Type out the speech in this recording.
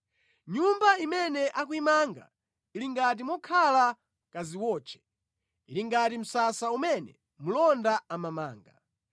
Nyumba imene akuyimanga ili ngati mokhala kadziwotche, ili ngati msasa umene mlonda amamanga.